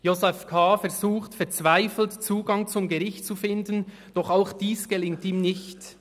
Josef K. versucht verzweifelt, Zugang zum Gericht zu finden, doch dies gelingt ihm nicht.